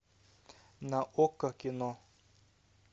на окко кино